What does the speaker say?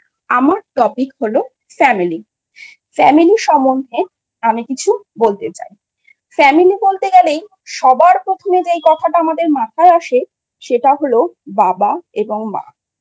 আমার Topic হল Family I Family সম্বন্ধে আমি কিছু বলতে চাই। Family বলতে গেলেই সবার প্রথমে যে কথাটা আমাদের মাথায় আসে সেটা হল বাবা এবং মা I